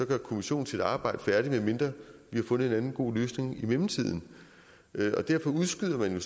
gør kommissionen sit arbejde færdigt medmindre vi har fundet en anden god løsning i mellemtiden derfor udskyder man